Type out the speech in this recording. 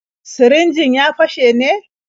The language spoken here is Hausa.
Sirinjin ya fashe ne?